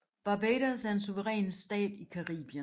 Barbados er en suveræn stat i Caribien